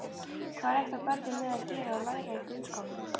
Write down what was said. Hvað reikna börnin með að gera og læra í grunnskólanum?